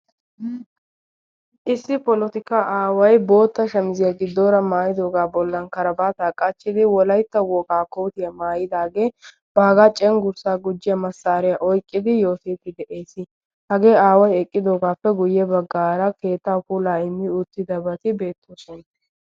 issi polotikka aawai bootta shamiziyaa giddoora maayidoogaa bollan karabaataa qachchidi wolaitta wogaa kootiyaa maayidaagee baagaa cenggurssaa gujjiya massaariyaa oiqqidi yootiipfi de7ees hagee aawai eqqidoogaappe guyye baggaara keetta pulaa immi uuttida bati beettoosona